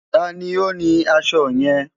tani o ni aṣọ yẹn?